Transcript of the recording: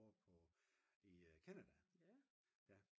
over på i Canada